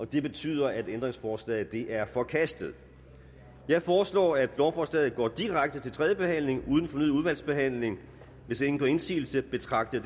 det betyder at ændringsforslaget er forkastet jeg foreslår at lovforslaget går direkte til tredje behandling uden fornyet udvalgsbehandling hvis ingen gør indsigelse betragter